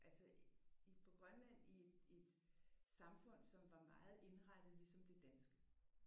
Altså i på Grønland i et samfund som var meget indrettet ligesom det danske